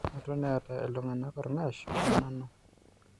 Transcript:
Eton eeta ilntung'anak ornng'ash onanu